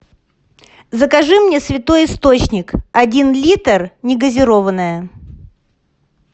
закажи мне святой источник один литр негазированная